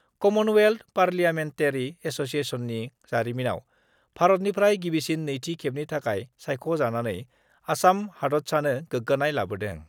Commonwealth Parliamentary एस'सियेसननि जारिमिनाव भारतनिफ्राय गिबिसिन नैथि खेबनि थाखाय सायख'जानानै आसाम हादतसानो गोग्गानाय लाबोदों।